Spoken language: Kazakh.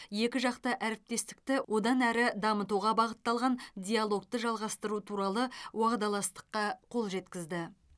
екіжақты әріптестікті одан әрі дамытуға бағытталған диалогты жалғастыру туралы уағдаластыққа қол жеткізді